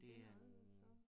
Den en anden så